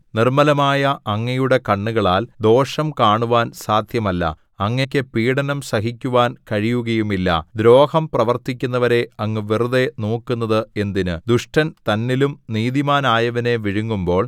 നിർമ്മലമായ അങ്ങയുടെ കണ്ണുകളാൽ ദോഷം കാണുവാൻ സാധ്യമല്ല അങ്ങയ്ക്ക് പീഢനം സഹിക്കുവാൻ കഴിയുകയുമില്ല ദ്രോഹം പ്രവർത്തിക്കുന്നവരെ അങ്ങ് വെറുതെ നോക്കുന്നത് എന്തിന് ദുഷ്ടൻ തന്നിലും നീതിമാനായവനെ വിഴുങ്ങുമ്പോൾ